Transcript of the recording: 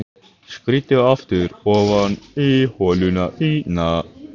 Skríddu aftur ofan í holuna þína.